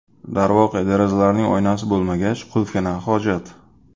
Darvoqe, derazalarning oynasi bo‘lmagach, qulfga na hojat?